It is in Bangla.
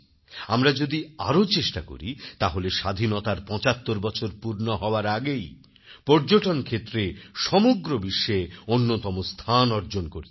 আমরা যদি আরও চেষ্টা করি তাহলে স্বাধীনতার ৭৫বছর পূর্ণ হওয়ার আগেই পর্যটনক্ষেত্রে সমগ্র বিশ্বে অন্যতম স্থান অর্জন করতে পারব